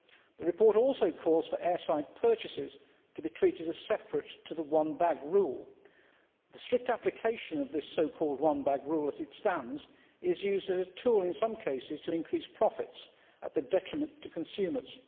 The report also calls for airside purchases to be treated as separate to the one bag' rule. The strict application of this so called one bag' rule as it stands is used as a tool, in some cases, to increase profits to the detriment of consumers.